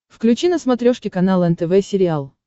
включи на смотрешке канал нтв сериал